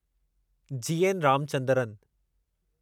GN Ramachandran